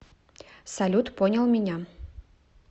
салют понял меня